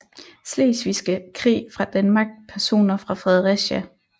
Slesvigske Krig fra Danmark Personer fra Fredericia